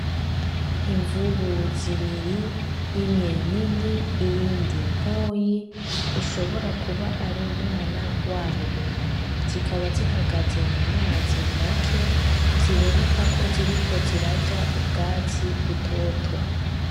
Imvubi zibiri, imwe nini, iyindi ntoyi ishobora kuba ari umwana wayo. Zikaba zihagaze mu mazi make ziboneka ko ziriko zirarya ubwatsi butoto.